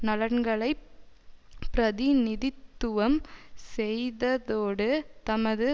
நலன்களை பிரதிநிதித்துவம் செய்வதோடு தமது